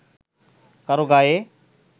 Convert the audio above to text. কারও গায়ে